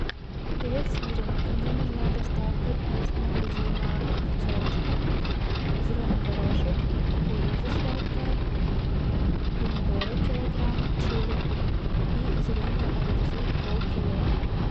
привет сири мне нужна доставка из магазина пятерочка зеленый горошек кукуруза сладкая помидоры килограмм черри и зеленые огурцы полкило